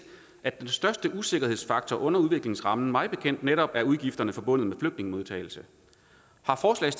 at den største usikkerhedsfaktor under udviklingsrammen mig bekendt netop er udgifterne forbundet med flygtningemodtagelse